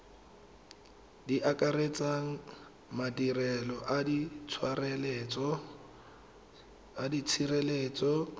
di akaretsang madirelo a tshireletso